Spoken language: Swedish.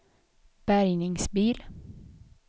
bärgningsbil